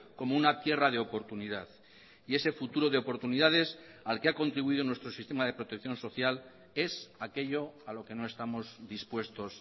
como una tierra de oportunidad y ese futuro de oportunidades al que ha contribuido nuestro sistema de protección social es aquello a lo que no estamos dispuestos